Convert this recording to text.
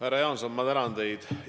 Härra Jaanson, ma tänan teid!